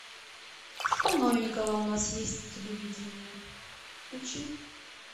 что новенького у нас есть на телевидении включи